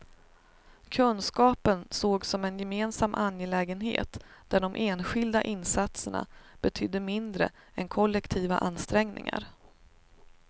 Kunskapen sågs som en gemensam angelägenhet, där de enskilda insatserna betydde mindre än kollektiva ansträngningar.